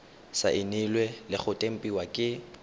saenilwe le go tempiwa ke